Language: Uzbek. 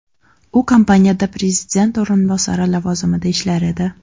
U kompaniyada prezident o‘rinbosari lavozimida ishlar edi.